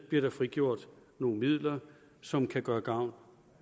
bliver frigjort nogle midler som kan gøre gavn